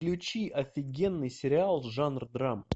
включи офигенный сериал жанр драма